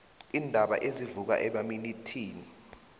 iindaba ezivuka emaminithini